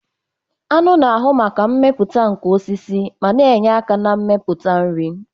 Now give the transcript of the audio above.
Aṅụ na-ahu maka mmepụta nke osisi ma na-enye aka na mmepụta nri.